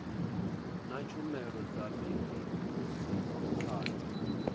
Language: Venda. na tshumelo dza midia dzo